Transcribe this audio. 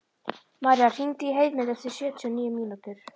Míra, hringdu í Heiðmund eftir sjötíu og níu mínútur.